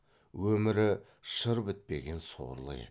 өмірі шыр бітпеген сорлы еді